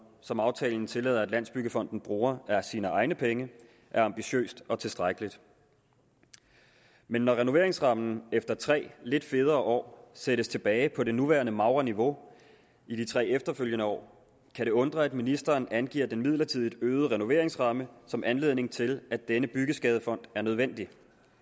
som aftalen tillader at landsbyggefonden bruger af sine egne penge er ambitiøst og tilstrækkeligt men når renoveringsrammen efter tre lidt federe år sættes tilbage på det nuværende magre niveau i de tre efterfølgende år kan det undre at ministeren angiver den midlertidigt øgede renoveringsramme som anledning til at denne byggeskadefond er nødvendig